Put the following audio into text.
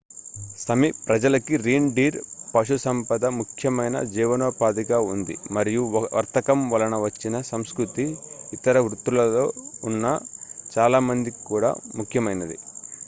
సమి ప్రజలకి reindeer పశుసంపద ముఖ్యమైన జీవనోపాధిగా ఉంది మరియు వర్తకం వలన వచ్చిన సంస్కృతి ఇతర వృత్తులలో ఉన్న చాలా మందికి కూడా ముఖ్యమైనది